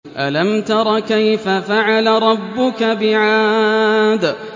أَلَمْ تَرَ كَيْفَ فَعَلَ رَبُّكَ بِعَادٍ